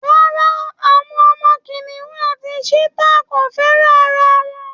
Rárá, àwọn ọmọ kìnìún àti cheetah kò fẹ́ràn ara wọn